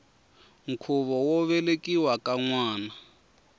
khuvo wo velekiwa ka nwana